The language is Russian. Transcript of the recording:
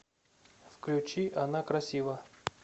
включи она красива